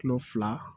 Kulo fila